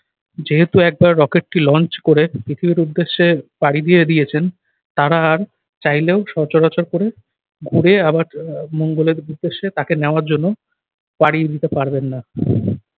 যেহেতু একবার rocket টি launch করে পৃথিবীর উদ্দেশ্যে পাড়ি দিয়ে দিয়েছেন তারা আর চাইলেও সচরাচর করে ঘুরে আবার আহ মঙ্গলের উদ্দেশ্যে তাকে নেওয়ার জন্য পাড়ি দিতে পারবেন না।